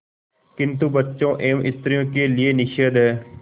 किंतु बच्चों एवं स्त्रियों के लिए निषेध है